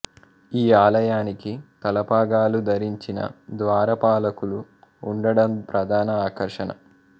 ఈ ఆలయానికి తలపాగాలు ధరించిన ద్వారపాలకులు ఉండడం ప్రధాన ఆకర్షణ